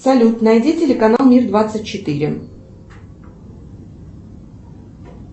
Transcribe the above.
салют найди телеканал мир двадцать четыре